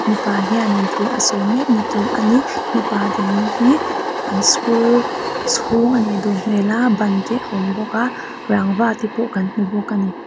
mipa hianin thu a sawi mek nitur ani mipa dinna hi an school chhûng a nih duh hmel a ban te a awm bawk a rangva te pawh kan hmu bawk ani.